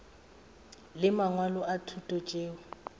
le mangwalo a thuto tšeo